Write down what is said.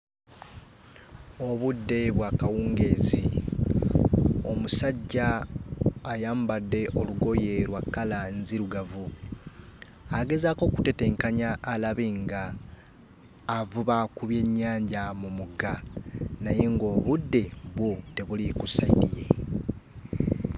Obudde bwa kawungeezi. Omusajja ayambadde olugoye lwa kkala nzirugavu. Agezaako okutetenkanya alabe ng'avuba ku byennyanja mu mugga naye ng'obudde bwo tebuli ku sayidi ye.